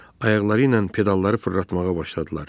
Ayaqları ilə pedalları fırlatmağa başladılar.